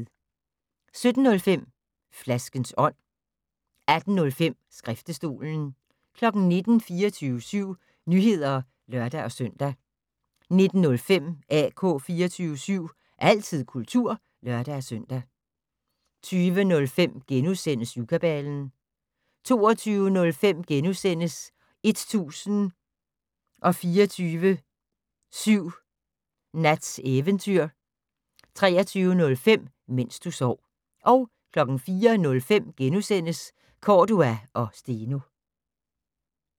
17:05: Flaskens ånd 18:05: Skriftestolen 19:00: 24syv Nyheder (lør-søn) 19:05: AK 24syv - altid kultur (lør-søn) 20:05: Syvkabalen * 22:05: 1024syv Nats Eventyr * 23:05: Mens du sov 04:05: Cordua & Steno *